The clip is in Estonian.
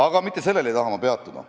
Aga mitte sellel ei taha ma peatuda.